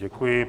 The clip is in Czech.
Děkuji.